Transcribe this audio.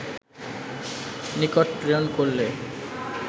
নিকট প্রেরণ করলে